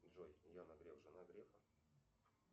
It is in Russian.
джой яна греф жена грефа